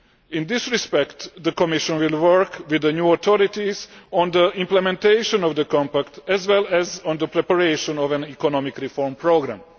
In this respect, the Commission will work with the new authorities on the implementation of the Compact as well as on the preparation of an economic reform programme.